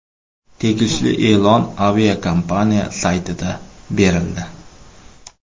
Tegishli e’lon aviakompaniya saytida berildi .